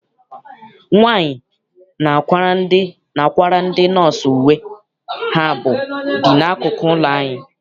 Nwaanyi na-akwara ndị nọọsụ uwe ha bi n'akụkụ ụlọ anyị.